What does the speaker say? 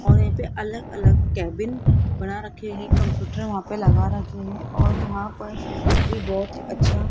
और यहां पे अलग अलग केबिन बना रखे हैं कंप्यूटर वहां पे लगा रखे हैं और वहां पर ये बहोत ही अच्छा --